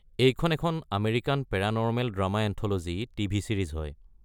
এইখন এখন American paranormal drama anthology TV. Series হয়।